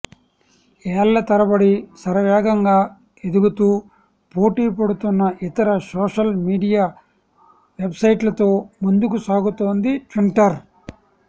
ఏళ్ల తరబడి శరవేగంగా ఎదుగుతూ పోటీ పడుతున్న ఇతర సోషల్ మీడియా వెబ్సైట్లతో ముందుకు సాగుతోంది ట్విట్టర్